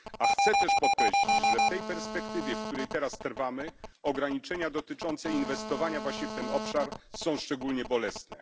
A chcę też podkreślić, że w tej perspektywie, w której teraz trwamy, ograniczenia dotyczące inwestowania właśnie w ten obszar są szczególnie bolesne.